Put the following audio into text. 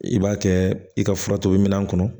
I b'a kɛ i ka fura tobi minɛn kɔnɔ